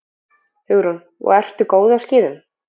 Hugrún: Og ertu góð á skíðum?